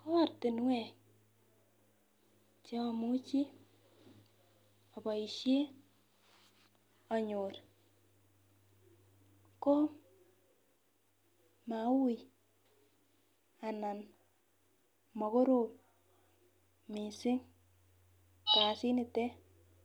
koartinwek chemamuchi abaishen anyor ko Maui anan makorom mising kasit nitet